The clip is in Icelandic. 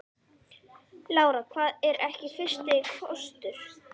Hafsteinn: Búið að vera huggulegt?